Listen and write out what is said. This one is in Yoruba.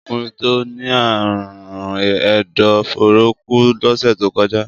Ọkùnrin tó ní àrùn ẹ̀dọ̀-fóóró kú lọ́sẹ̀ tó kọjá.